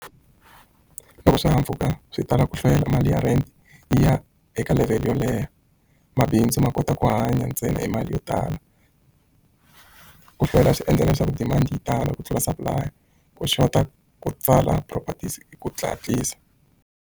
Loko swihahampfhuka swi tala ku hlwela mali ya rent yi ya eka level yo leha mabindzu ma kota ku hanya ntsena hi mali yo tala ku hlwela swi endla leswaku demand yi tala ku tlula supply ku xota ku tsala properties hi ku .